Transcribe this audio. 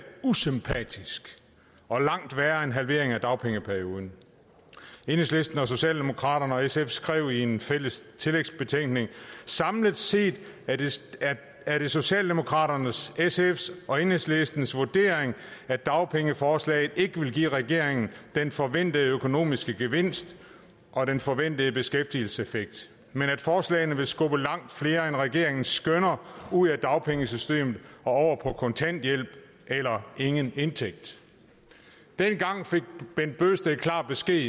usympatisk og langt værre end en halvering af dagpengeperioden enhedslisten socialdemokraterne og sf skrev i en fælles tillægsbetænkning samlet set er det socialdemokraternes sfs og enhedslistens vurdering at dagpengeforslagene ikke vil give regeringen den forventede økonomiske gevinst og den forventede beskæftigelseseffekt men at forslagene vil skubbe langt flere end regeringen skønner ud af dagpengesystemet og over på kontanthjælp eller ingen indtægt dengang fik bent bøgsted klar besked